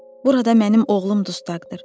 Burada mənim oğlum dustaqdır.